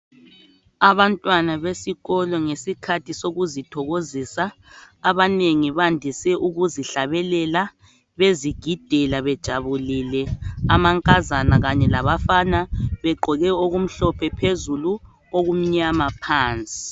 Abantwana besikolo ngesikhathi sokuzithokozisa abanengi bandise ukuzihlabelela bezigidela bejabulile amankazana Kanye labafana begqoke okumhlophe phezulu okumnyama phansi.